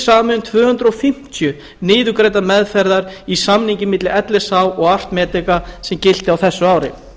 samið um tvö hundruð fimmtíu niðurgreiddar meðferðir í samningi milli lsh og að medica sem gilti á þessu ári